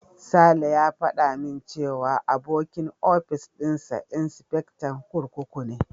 Sale ya faɗa min cewa abokin ofis dinsa insifectan kurkuku ne.